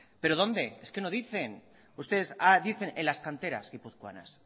pero dónde es que no dicen ustedes dicen en las canteras guipuzcoanas